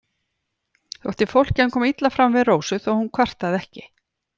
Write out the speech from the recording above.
Þótti fólki hann koma illa fram við Rósu þó hún kvartaði ekki.